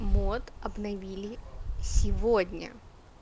мод обновили сегодня